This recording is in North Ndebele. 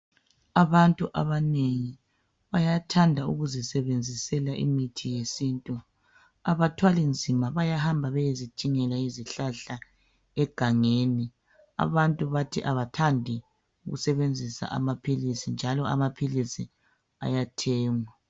Abantu abanengi bayathanda ukuzisebenzisela imithi yesintu. Abathwali nzima bayahamba bayezidingela izihlahla egangeni. Abantu bathi abathandi ukusebenzisa amaphilisi njalo amaphilisi ayathengwa.